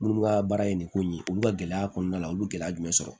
Minnu ka baara ye nin ko in ye olu ka gɛlɛya kɔnɔna la olu gɛlɛya jumɛn sɔrɔ